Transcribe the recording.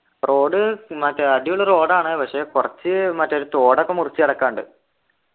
road മറ്റേ അടിപൊളി road ആണ് പക്ഷെ കുറച്ച് മറ്റേ ഒരു തോടൊക്കെ മുറിച്ചു കടക്കാനുണ്ട്